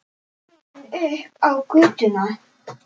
Komin upp á götuna.